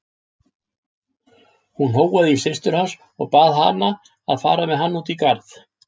Hún hóaði í systur hans og bað hana að fara með hann út í garð.